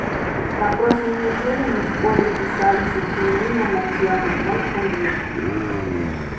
на прошлой неделе мы в школе писали сочинение на тему мой кумир